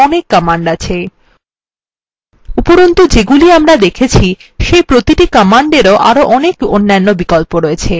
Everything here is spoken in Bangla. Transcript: এইপ্রকার আরো অনেক commands আছে উপরন্তু যেগুলি আমরা দেখেছি সেই প্রতিটি কমান্ডেরও আরো অনেক অন্যান্য বিকল্প আছে